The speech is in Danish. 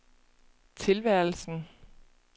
tilværelsen